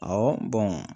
Awɔ